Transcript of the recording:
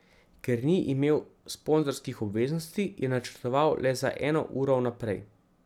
Ker ni imel sponzorskih obveznosti, je načrtoval le za eno uro vnaprej.